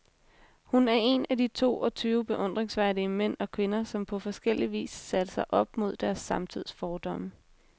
Hun er en af de to og tyve beundringsværdige mænd og kvinder, som på forskellig vis satte sig op mod deres samtids fordomme.